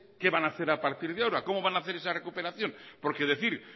qué van hacer a partir de ahora cómo van hacer esa recuperación porque decir